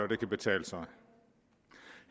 det kan betale sig